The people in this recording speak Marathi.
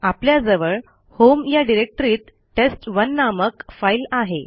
आपल्याजवळ होम या डिरेक्टरीत टेस्ट1 नामक फाईल आहे